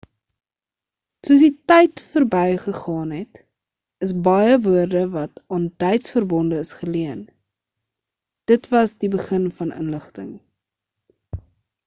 soos die tyd berby gegaan het is baie woorde wat aan duits verbonde is geleen dit was die begin van inligting